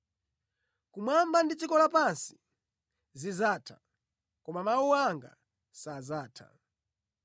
Kumwamba ndi dziko lapansi zidzatha, koma mawu anga sadzatha.”